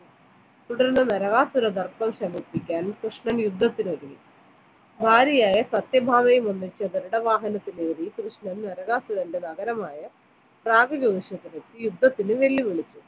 തുടർന്ന് നരകാസുര ശമിപ്പിക്കാൻ കൃഷ്ണൻ യുദ്ധത്തിന് ഒരുങ്ങി ഭാര്യയായ സത്യഭാമയവും ഒന്നിച്ച് ഗരുഡ വാഹനത്തിലേറി കൃഷ്ണൻ നരകാസുരന്റെ നഗരമായ യുദ്ധത്തിന് വെല്ലുവിളിച്ചു